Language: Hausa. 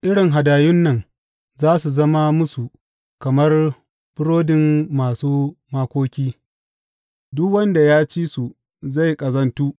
Irin hadayun nan za su zama musu kamar burodin masu makoki; duk wanda ya ci su zai ƙazantu.